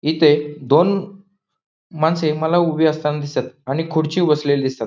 इथे दोन माणसे मला उभे असताना दिसतात आणि खुर्चीवर बसलेले दिसतात.